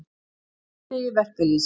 Á frídegi verkalýðsins.